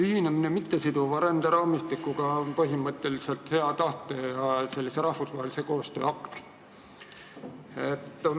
Ühinemine mittesiduva ränderaamistikuga on põhimõtteliselt hea tahte ja rahvusvahelise koostöö akt.